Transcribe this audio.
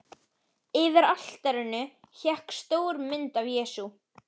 Yfir altarinu hékk stór mynd af Jesú.